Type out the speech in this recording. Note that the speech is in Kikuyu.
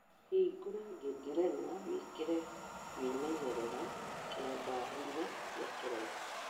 hingora ngengerena wĩkire kwĩmenyerera kia thaa inya cia kĩroko